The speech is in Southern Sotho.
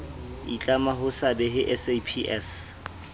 itlama ho se behe saps